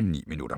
9 minutter.